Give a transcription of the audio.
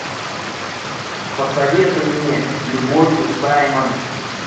посоветуй мне с любовью саймон